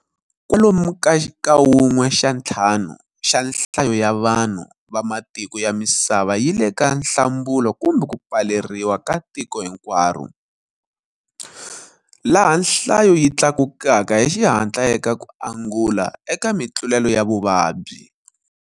Kwalomu ka wun'we xa ntlhanu xa nhlayo ya vanhu va matiko ya misava yi le ka nhlambulo kumbe ku pfaleriwa ka tiko hinkwaro, laha nhlayo yi tlakukaka hi xihatla eka ku angula eka mitlulelo ya vuvabyi.